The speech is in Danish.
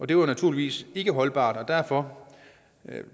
det var naturligvis ikke holdbart og derfor